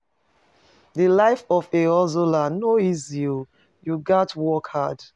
Di life of a hustler no easy o, you gats work hard.